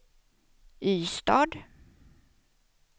Ystad